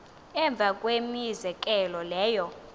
emva kwemizekelo leyo